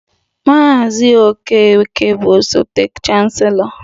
Mr okeke bụ osote chancelọ